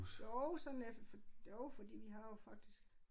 Jo sådan jo fordi vi har jo faktisk